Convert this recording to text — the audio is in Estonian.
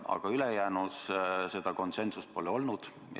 Aga ülejäänus seda konsensust pole olnud.